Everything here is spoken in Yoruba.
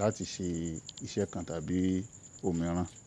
láti ṣe iṣẹ́ kan tàbí ohun mìíràn.